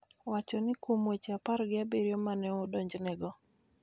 wacho ni kuom weche apar gi abiriyo ma ne odonjnego,